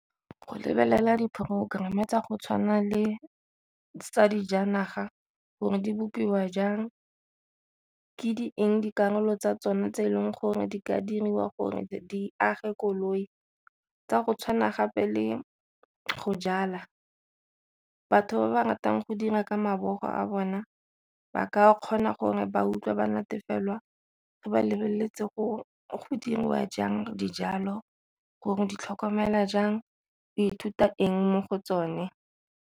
Go lebelela di-programme tsa go tshwana le tsa dijanaga gore di bopiwa jang, ke di eng dikarolo tsa tsona tse e leng gore di ka diriwa gore di age koloi, tsa go tshwana gape le go jala. Batho ba ba ratang go dira ka mabogo a bona ba ka kgona gore ba utlwa ba natefelwa fa ba lebeletse go diriwa jang dijalo gore di tlhokomela jang o ithuta eng mo go tsone.